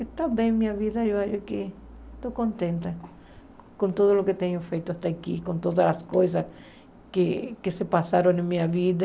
Está bem minha vida, eu acho que estou contente com tudo o que tenho feito até aqui, com todas as coisas que que se passaram na minha vida.